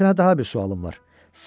Mənim sənə daha bir sualım var.